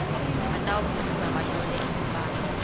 batawufundza bahlole imibhalo